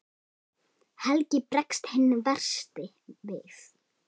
Helgi bregst hinn versti við.